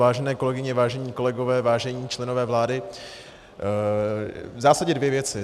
Vážené kolegyně, vážení kolegové, vážení členové vlády, v zásadě dvě věci.